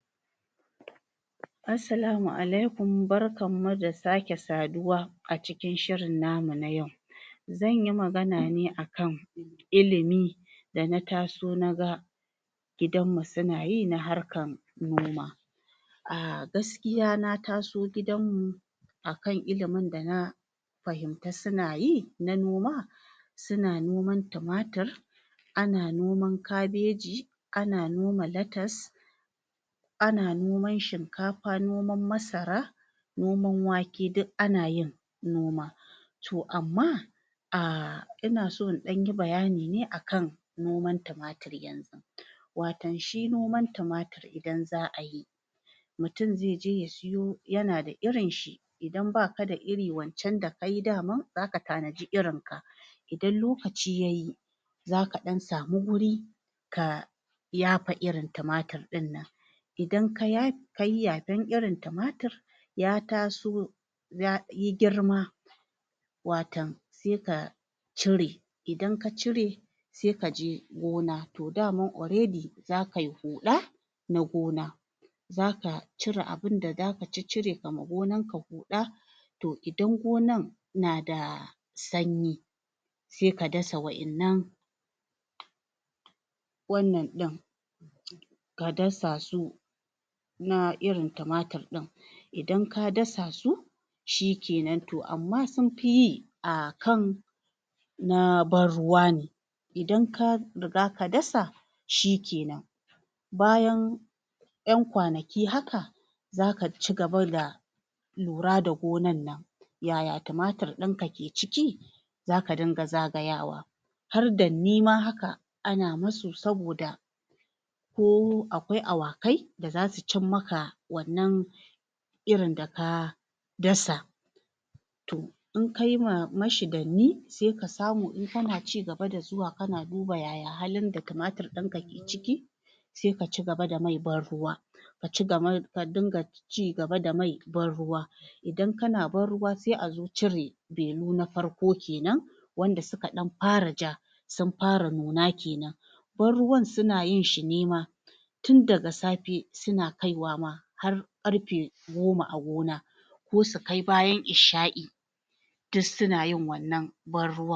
Assalamu alaikum barkammu da sake saduwa a cikin shirin namu na yau. Zanyi magana ne akan ilimi da na taso naga gidanmu suna yi na harkan noma. Ah gaskiya na taso gidanmu akan ilimin da na fahimta suna yi na noma; suna noman tumatur, ana noman kabeji, ana noma latas, ana noman shinkafa, noman masara, noman wake duk ana yin noma. To amma ah inaso in ɗan yi baya ne akan noman tumatur. Watan shi noman tumatur idan za a yi mutum ze je ya yi yu yana da irinshi. Idan baka da iri wancan da ai daman zaka tanaji irin ka idan lokaci ya yi zaka ɗan samu guri ka yafa irin tumatur ɗin. Idan ka yafa kayi yafan irin tumatur ya taso ya yi girma watan je ka cire. Idan ka cire se kaje gona. To daman already zakai huɗa na gona, zaka cire abin da zaka caccire, ka amo gonanka. To idan gonan na da ganye se ka dasa waɗannan waɗanɗin ka dasa su na irin tumatur ɗin. Idan ka dasa su shikenan. To amma sun fiye akan na ban-ruwa ne. Idan ka dasa shi kenan bayan yan kwanaki haka za ka ci gaba da lura da gonan nan yaya tumatur ɗinka ke ciki, zaka dinga zagayawa. Haka ana musu saboda ko akwai awaki da zasu ci maka wannan irin da ka dasa. To idan kayi mashi danni se ka samu in kana ci gaba da zuwa kana duba yaya halin da tumatur ɗinka ke ciki. Se ka ci gaba da mai ban-ruwa. A ci gaba ka dinga cigaba da mai ban ruwa. Idan kana ban-ruwa se a zo cire benu na farko kenan wanda suka ɗan fara ja, sun fara nuna kenan. Ban-ruwan suna yin shine ma tun daga safe suna kaiwa har goma a gona ko su kai bayan isha’i duk suna yin wannan ban-ruwan.